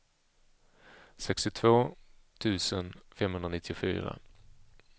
sextiotvå tusen femhundranittiofyra